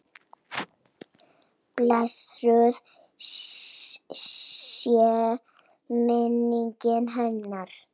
Blessuð sé minning hennar.